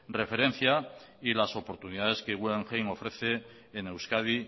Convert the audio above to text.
referencia y las oportunidades que guggenheim ofrece en euskadi